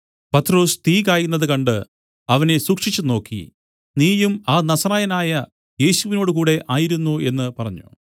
പത്രൊസ് തീ കായുന്നത് കണ്ട് അവനെ സൂക്ഷിച്ചുനോക്കി നീയും ആ നസറായനായ യേശുവിനോടുകൂടെ ആയിരുന്നു എന്നു പറഞ്ഞു